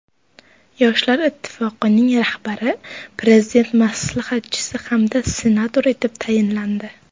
Yoshlar ittifoqining rahbari Prezident maslahatchisi hamda senator etib tayinlandi.